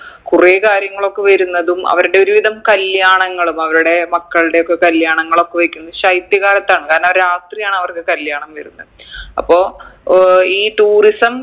കുറേ കാര്യങ്ങളൊക്കെ വരുന്നതും അവരുടെ ഒരുവിധം കല്യാണങ്ങളും അവരുടെ മക്കൾടെയൊക്കെ കല്യാണങ്ങളൊക്കെ വയ്ക്കുന്നത് ശൈത്യകാലത്താണ് കാരണം രാത്രിയാണ് അവർക്ക് കല്യാണം വരുന്നേ അപ്പൊ ഏർ ഈ tourism